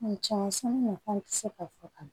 nafan tɛ se ka fɔ ka ban